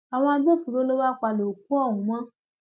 àwọn agbófinró ló wáá palẹ òkú ọhún mọ